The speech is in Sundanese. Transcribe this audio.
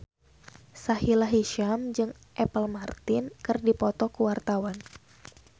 Sahila Hisyam jeung Apple Martin keur dipoto ku wartawan